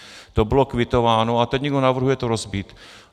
To bylo kvitováno, a teď někdo navrhuje to rozbít.